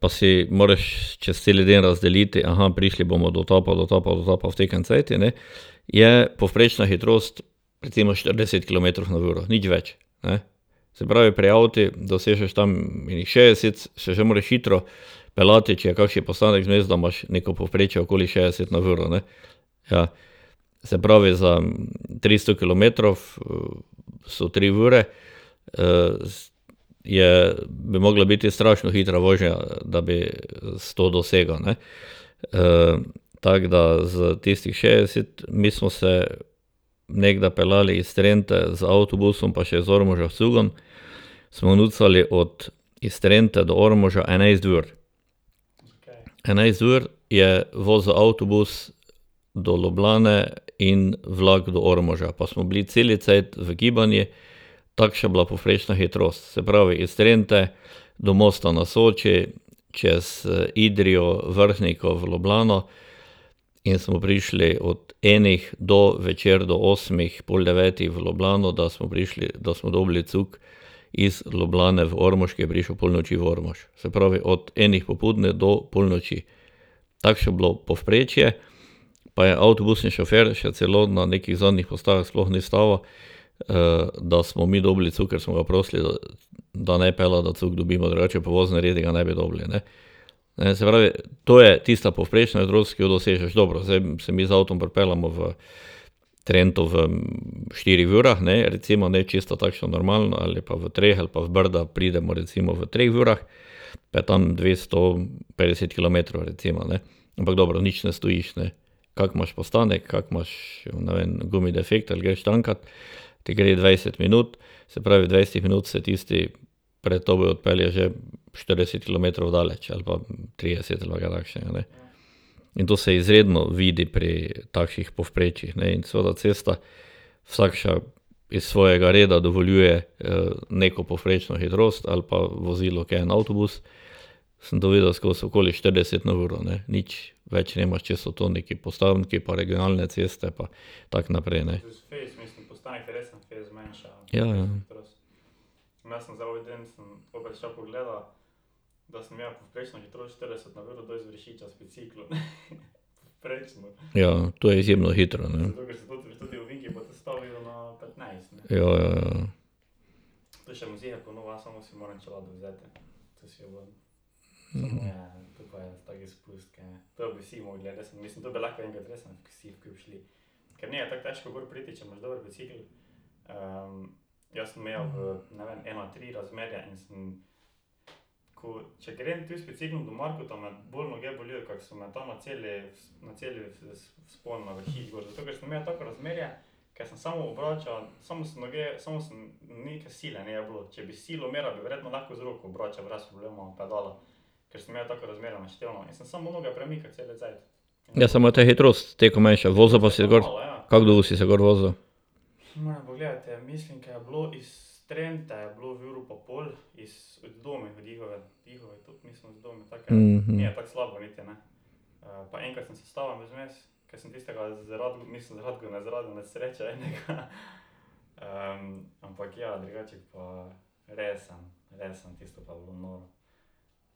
pa si moraš čez te ljudi razdeliti, prišli bomo do tja pa do tja pa do tja, pa v takem cajtu, ne, je povprečna hitrost recimo štirideset kilometrov na uro, nič več. Ne. Se pravi, pri avtu dosežeš tam ene šestdeset, se že moraš hitro peljati, če je kakšen postanek vmes, da imaš neko povprečje okoli šestdeset na uro, ne. Ja. Se pravi, za tristo kilometrov so tri ure. je, bi mogla biti strašno hitra vožnja, da bi sto dosegel, ne. tako da za tistih šestdeset, mi smo se nekdaj peljali iz Trente z avtobusom pa še z Ormoža s cugom, smo nucali od, iz Trente do Ormoža enajst ur. Enajst ur je vozil avtobus do Ljubljane in vlak do Ormoža, pa smo bili cel cajt v gibanju, takša je bila povprečna hitrost, se pravi iz Trente do Mosta na Soči, čez Idrijo, Vrhniko v Ljubljano, in smo prišli od ene do večer do osmih, pol devetih v Ljubljano, da smo prišli, da smo dobili cug iz Ljubljane v Ormož, ki je prišel ob polnoči v Ormož. Se pravi od enih popoldne do polnoči. Takšno je bilo povprečje, pa je avtobus in šofer še celo na nekih zadnjih postajah sploh ni ustavil, da smo mi dobili cug, ker smo ga prosili, da, da naj pelje, da cug dobimo, drugače po voznih redih ga ne bi dobili, ne. A ne, se pravi, to je tista povprečna hitrost, ki jo dosežš, dobro, zdaj se mi z avtom pripeljemo v Trento v štirih urah, ne, recimo, ne, čisto takšna normalna, ali pa v treh ali pa v Brda pridemo recimo v treh urah, da je tam dvesto petdeset kilometrov, recimo, ne. Ampak dobro, nič ne stojiš, ne. Kako imaš postanek, kako imaš, ne vem, gumi defekt, greš tankat, ti gre dvajset minut, se pravi v dvajsetih minutah se tisti pred tabo odpelje že štirideset kilometrov daleč ali pa trideset ali pa kaj takšega. In to se izredno vidi pri takših povprečjih, ne, in seveda cesta vsakša iz svojega reda dovoljuje neko povprečno hitrost ali pa vozilo, ke je en avtobus, skozi okoli štirideset na uro, ne, nič več nimaš, če so to neki postanki pa regionalne ceste pa tako naprej, ne. Ja, ja. Ja, ja, to je izjemno hitro, ne. Ja, ja, ja. Ne, samo to je hitrost, toliko manjša. Kako dolgo si se